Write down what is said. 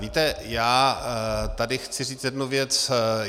Víte, já tady chci říci jednu věc.